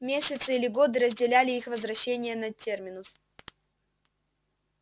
месяцы или годы разделяли их возвращения на терминус